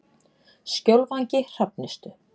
Skjólvangi Hrafnistu